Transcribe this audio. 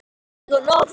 Unnu dag og nótt